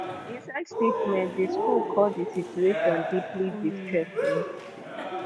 inside statement di school call di situation "deeply distressing".